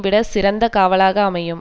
விட சிறந்த காவலாக அமையும்